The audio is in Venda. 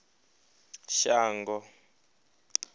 shango